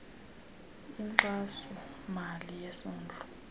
inkxaso mali yesondlo